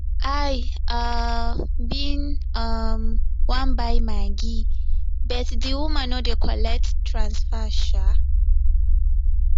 i um bin um wan buy maggi but the woman no dey collect transfer um